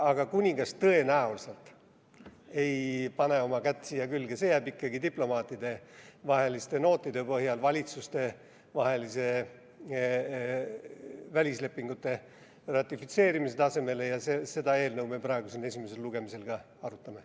Aga kuningas tõenäoliselt ei pane oma kätt siia külge, see jääb ikkagi diplomaatidevaheliste nootide põhjal valitsustevahelise välislepingute ratifitseerimise tasemele ja seda eelnõu me praegu siin esimesel lugemisel ka arutame.